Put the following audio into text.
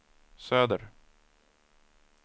söder